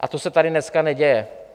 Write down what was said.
A to se tady dneska neděje.